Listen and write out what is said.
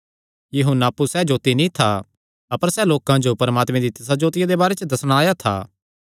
यहून्ना अप्पु सैह़ जोत्ती नीं था अपर सैह़ लोकां जो परमात्मे दी तिसा जोतिया दे बारे च दस्सणा आया था